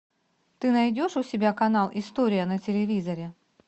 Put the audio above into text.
ты найдешь у себя канал история на телевизоре